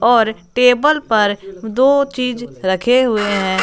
और टेबल पर दो चीज़ रखे हुए हैं।